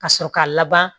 Ka sɔrɔ k'a laban